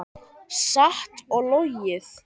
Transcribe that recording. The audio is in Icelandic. Satt og logið.